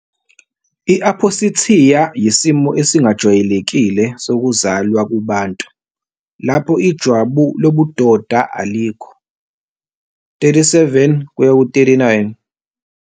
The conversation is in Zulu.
I-Aphosithiya yisimo esingajwayelekile sokuzalwa kubantu, lapho ijwabu lobudoda alikho. - 37-39